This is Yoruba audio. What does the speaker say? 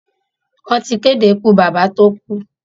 Wọ́n ti kéde ikú bàbá tó kú.